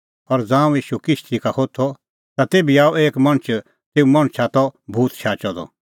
और ज़ांऊं ईशू किश्ती का होथअ ता तेभी आअ एक मणछ तेऊ मणछा दी त भूत शाचअ द सह आअ मल्थाना का ईशू सेटा लै ठुर्ही करै